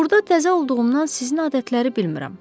Burda təzə olduğumdan sizin adətləri bilmirəm.